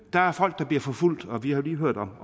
der er folk der bliver forfulgt og vi har jo lige hørt om